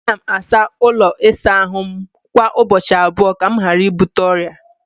Ana m asa ụlọ ịsa ahụ m kwa ụbọchị abụọ ka m ghara ibute ọrịa.